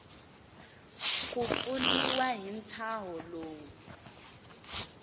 ku pfuniwa hi ntshaho lowu